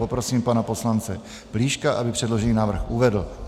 Poprosím pana poslance Plíška, aby předložený návrh uvedl.